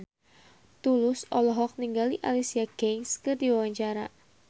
Tulus olohok ningali Alicia Keys keur diwawancara